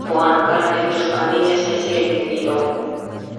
бұған коронавирус пандемиясы әсер етті дейді ол